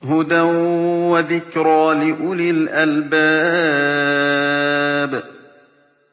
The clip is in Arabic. هُدًى وَذِكْرَىٰ لِأُولِي الْأَلْبَابِ